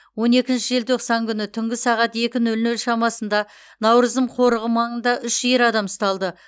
он екінші желтоқсан күні түнгі сағат екі нөл нөл шамасында науырзым қорығы маңында үш ер адам ұсталды